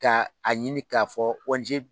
Ka a ɲini k'a fɔ ONG